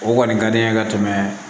O kɔni ka di n ye ka tɛmɛ